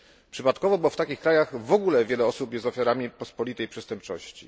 Przypadkowo, bo w takich krajach w ogóle wiele osób jest ofiarami pospolitej przestępczości.